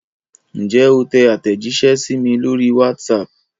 Ǹjẹ́ o tẹ àtẹ̀jíṣẹ́ sí mi lórí WhatsApp?